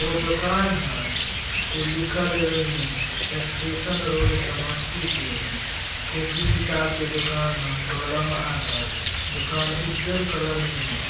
एगो दुकान हई उ लिखल हई ओइमें स्टेशन रोड समस्तीपुर कॉपी किताब के दुकान हई कलम आर हई दुकान उज्जर कलर में हई।